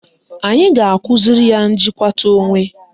Anyị ga-akụziri ya njikwata onwe.